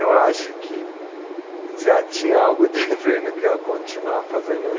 Eu acho que já tinha algo dizendo que eu ia continuar fazendo